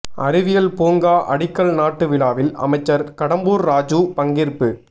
அறிவியல் பூங்கா அடிக்கல் நாட்டு விழாவில் அமைச்சர் கடம்பூர் ராஜூ பங்கேற்பு